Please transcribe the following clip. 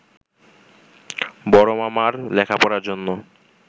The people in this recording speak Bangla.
বড় মামার লেখাপড়ার জন্য